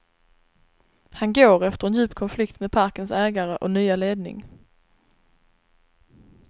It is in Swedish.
Han går efter en djup konflikt med parkens ägare och nya ledning.